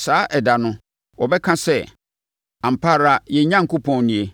Saa ɛda no, wɔbɛka sɛ, “Ampa ara yɛn Onyankopɔn nie;